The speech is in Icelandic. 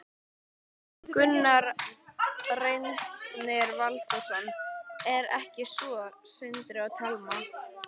Gunnar Reynir Valþórsson: Er ekki svo, Sindri og Telma?